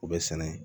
U bɛ sɛnɛ